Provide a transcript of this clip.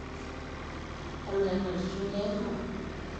amaa ene tito keyama?